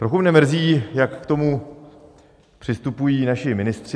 Trochu mne mrzí, jak k tomu přistupují naši ministři.